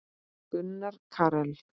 Gunnar Karel.